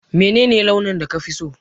Menene launin da kafi so?